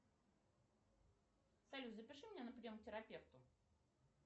салют запиши меня на прием к терапевту